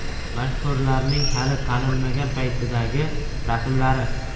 Mashhurlarning hali tanilmagan paytidagi rasmlari .